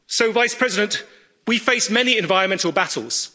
Vice President, we face many environmental battles